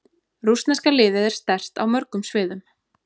Rússneska liðið er sterkt á mörgum sviðum.